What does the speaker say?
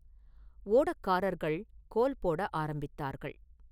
ஓடக்காரர்கள் கோல்போட ஆரம்பித்தார்கள்.